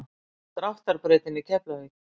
Dráttar brautinni í Keflavík.